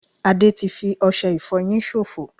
Ade ti fi ọsẹ ìfoyin sofo